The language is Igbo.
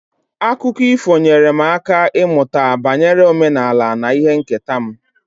Akụkọ ifo nyeere m aka ịmụta banyere omenala na ihe nketa m.